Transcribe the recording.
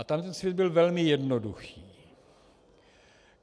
A tam ten svět byl velmi jednoduchý.